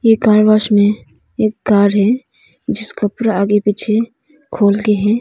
ऐ car wash में एक car है जिसका पूरा आगे पीछे खोल के है।